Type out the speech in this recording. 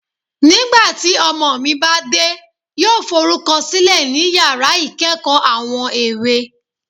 Nigbati ọmọ mi ba de, yoo forukọsilẹ ni yara ikeekoo Awon èwo